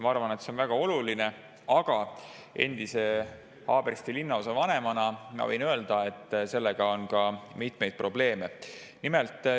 Ma arvan, et see on väga oluline, aga endise Haabersti linnaosavanemana ma võin öelda, et sellega on ka mitmeid probleeme.